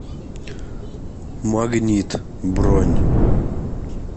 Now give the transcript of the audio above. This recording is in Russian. магнит бронь